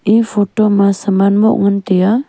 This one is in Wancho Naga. eh photo ma saman moh ngan tai aa.